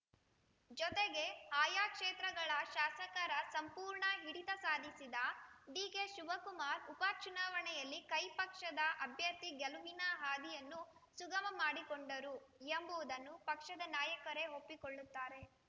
ಜೊತೆಗೆ ಆಯಾ ಕ್ಷೇತ್ರಗಳ ಶಾಸಕರ ಸಂಪೂರ್ಣ ಹಿಡಿತ ಸಾಧಿಸಿದ ಡಿಕೆಶಿವಕುಮಾರ್‌ ಉಪ ಚುನಾವಣೆಯಲ್ಲಿ ಕೈ ಪಕ್ಷದ ಅಭ್ಯರ್ಥಿ ಗೆಲುವಿನ ಹಾದಿಯನ್ನು ಸುಗಮ ಮಾಡಿಕೊಂಡರು ಎಂಬುವುದನ್ನು ಪಕ್ಷದ ನಾಯಕರೇ ಒಪ್ಪಿಕೊಳ್ಳುತ್ತಾರೆ